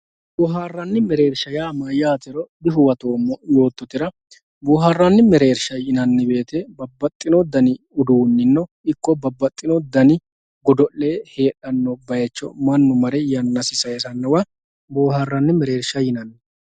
boohaaranni mereersha yaa mayaatero dihuwatoomo yoototera booharanni mereersha yinanni wote babbaxino dani uduunino ikko babbaxino dani godo'le heexanno bayiicho mannu mare yannasi sayiisannowa bohaaranni mereersha yinanni.